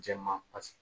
Jɛman pasi